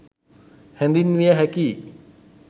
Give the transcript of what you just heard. හැඳින්විය හැකියි